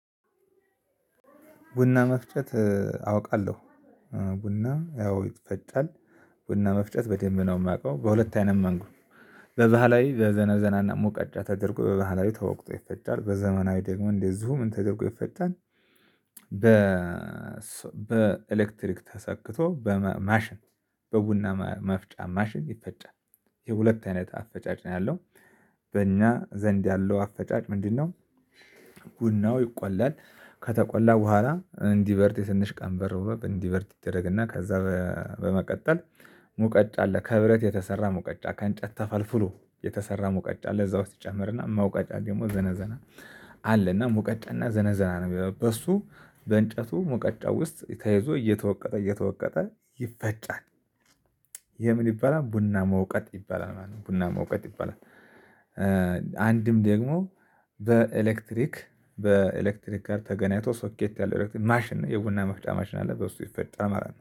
ቡና መፍጨት አውቃለሁ። ቡና ያው ይፈጫል። ቡና መፍጨት በደንብ ነው የማውቀው በሁለት አይነት መልኩ። በባህላዊ በዘነዘና እና ሙቃጫ ተደርጎ በባህላዊ ተወቅጦ ይፈጫል በዘመናዊ ደግሞ እንደዚሁ ምን ተደርጎ ይፈጫል። በ በኤሌክትሪክ ተሰክቶ በመ ማሽን በቡና መፍጫ ማሽን ይፈጫል። ያው ሁለት አይነት አፈጫጭ ነው ያለው። በእኛ ዘንድ ያለው አፈጫጭ ምንድንነው? ቡናው ይቆላል። ከተቆላ በኋላ እንዲበርድ ትንሽ ቀንበር ብሎ እንዲበርድ ይደረግ እና ከዛ። በመቀጠል ሙቀጫ አለ ከብረት የተሰራ ሙቀጫ ከእንጨት ተፋልፍሎ የተሰራ ሙቀጫ አለ። እዛ ውስጥ ይጨመር እና መውቀጫ ደግሞ ዘነዘነ አለ። እና ሙቀጫ እና ዘነዘና ነው በእሱ በእንጨቱ ሙቀጫ ውስጥ ተይዞ እየተወቀጠ እየተወቀጠ ይፈጫል። ይሄ ምን ይባላል ቡና መውቀጥ ይባላል። ማለት ነው ቡና መውቀጥ ይባላል። አንድም ደግሞ በኤሌክትሪክ በኤሌክትሪክ ጋር ተገናኝቶ ሶኬት ያለው ማሽን የቡና መፍጫ ማሽን አለ በእሱ ይፈጫል ማለት ነው